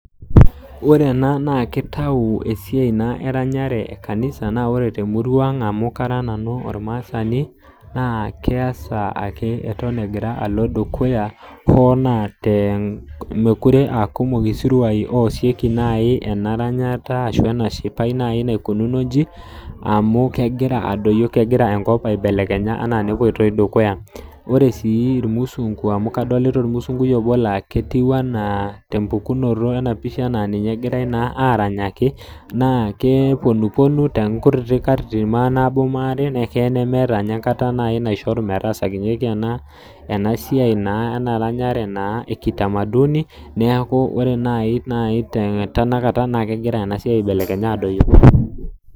Ore ena naa kitau naa esiai eranyare ee kanisa naa ore naa te murua ang' amu kara nanu ormasani naa keasa ake eton egira alo dukuya hoo te mekure aa kumok isiruan oasikie naji ena ranyata ashu ena shipai nai naikununo ijin amu kegira adoyio kegira enkop aibelekenya anaa nepoitoi dukuya. Ore sii irmusunku amu kasolita tena pisha tempukunoto ketiu enaa ninye egirai naa aranyaki naa kee puonu pounu too nkutitik katitin manaabo manaare na keya nemeeta ninye ankata nai naishoru naitodulunyeki ena siai naa eranyare ee kitamaduni neeku ore naa nai tenakata kegira siaia aibelekenya adoyio.